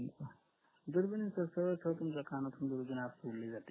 दुर्बिन कसं कानातून दुर्बीण आत सोडली जाते